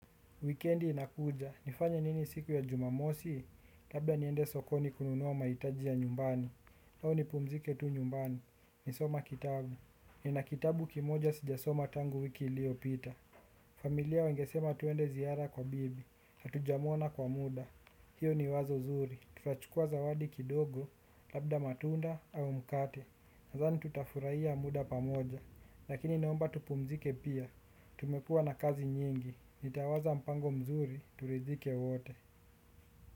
Wikendi inakuja, nifanye nini siku ya jumamosi, labda niende sokoni kununua mahitaji ya nyumbani. Au ni pumzike tu nyumbani, ni soma kitabu. Nina kitabu kimoja sijasoma tangu wiki iliyopita. Familia wengesema tuende ziara kwa bibi, hatuja mwona kwa muda. Hiyo ni wazo zuri, tutachukua zawadi kidogo, labda matunda au mkate. Nathani tutafurahia muda pamoja, lakini naomba tu pumzike pia. Tumekuwa na kazi nyingi, nitawaza mpango mzuri, turidhike wote.